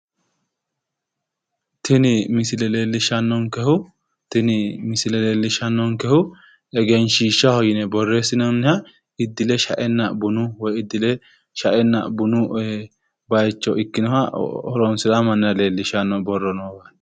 Tini misile leellishanonkehu iibbinore horonsi'naninna intani nootta kulano walchoho xalinonni Egenshiishati